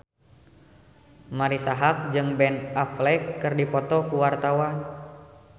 Marisa Haque jeung Ben Affleck keur dipoto ku wartawan